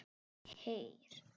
Heyr!